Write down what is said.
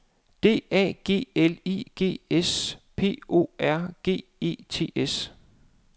D A G L I G S P R O G E T S